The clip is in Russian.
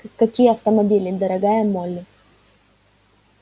какие автомобили дорогая молли